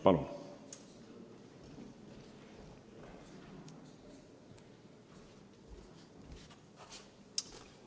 Palun!